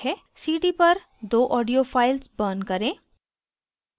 cd पर दो audio files burn करें